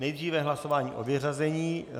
Nejdříve hlasování o vyřazení.